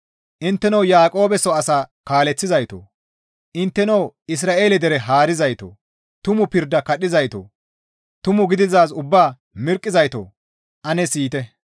Intteno Yaaqoobe soo asa kaaleththizaytoo! Intteno Isra7eele dere haarizaytoo! Tumu pirda kadhizaytoo! Tumu gididaaz ubbaa mirqqizaytoo! Ane siyite.